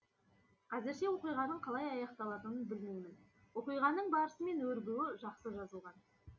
қазірше оқиғаның қалай аяқталатынын білмеймін оқиғаның барысы мен өрбуі жақсы жазылған